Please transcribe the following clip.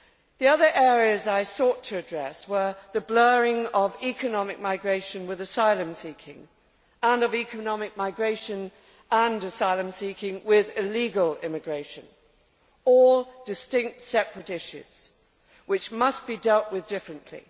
The other areas I sought to address were the blurring of economic migration with asylum seeking and of economic migration and asylum seeking with illegal immigration all distinct, separate issues which must be dealt with differently.